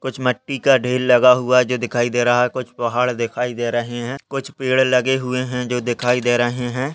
कुछ मट्टी का ढेर लगा हुआ है जो दिखाई दे रहा है कुछ पहाड़ दिखाई दे रहे हैं कुछ पेड़ लगे हुए हैं जो दिखाई दे रहे हैं।